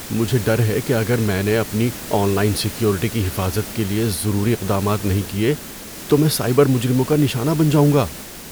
مجھے ڈر ہے کہ اگر میں نے اپنی آن لائن سیکیورٹی کی حفاظت کے لیے ضروری اقدامات نہیں کیے تو میں سائبر مجرموں کا نشانہ بن جاؤں گا۔